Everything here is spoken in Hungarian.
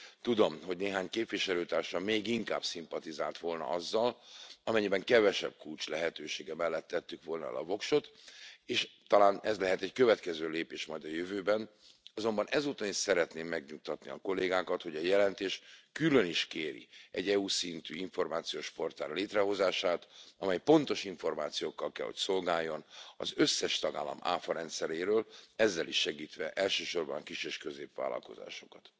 Tudom, hogy néhány képviselőtársam még inkább szimpatizált volna azzal, amennyiben kevesebb kulcs lehetősége mellett tettük volna le a voksot, és talán ez lehet egy következő lépés majd a jövőben, azonban ezúton is szeretném megnyugtatni a kollégákat, hogy a jelentés külön is kéri egy EU szintű információs portál létrehozását, amely pontos információkkal kell hogy szolgáljon az összes tagállam áfarendszeréről, ezzel is segítve elsősorban a kis és középvállalkozásokat.